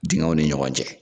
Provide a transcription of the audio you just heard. Dengɛw ni ɲɔgɔn cɛ.